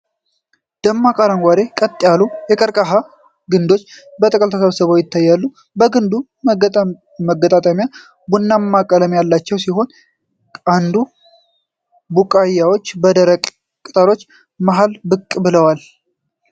ደማቅ አረንጓዴ፣ ቀጥ ያሉ የቀርከሃ ግንዶች በጥቅል ተሰብስበው ይታያሉ። የግንዱ መገጣጠሚያዎች ቡናማ ቀለበት ያላቸው ሲሆን፣ አዲስ ቡቃያዎች ከደረቅ ቅጠሎች መሃል ብቅ ብለዋል።